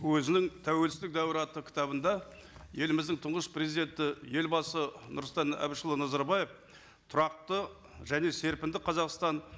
өзінің тәуелсіздік дәуірі атты кітабында еліміздің тұңғыш президенті елбасы нұрсұлтан әбішұлы назарбаев тұрақты және серпінді қазақстан